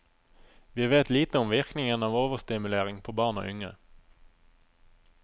Vi vet lite om virkningen av overstimulering på barn og unge.